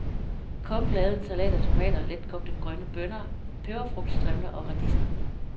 Kokken lavede en salat af tomater, letkogte grønne bønner, peberfrugtstrimler og radiser.